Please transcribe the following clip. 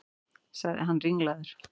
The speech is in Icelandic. sagði hann ringlaður.